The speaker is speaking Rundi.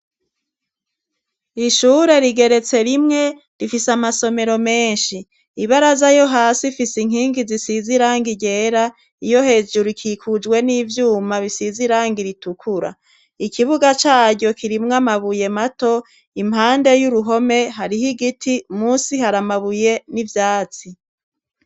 Ishure rigeretse rimwe rifise amasomero menshi, ibaraza yo hasi ifise inkingi zisize irangi ryera, iyo hejuru ikikujwe n'ivyuma bisize irangi ritukura, ikibuga caryo kirimwo amabuye mato, impande y'uruhome hariho igiti, musi hari amabuye n'ivyatsi.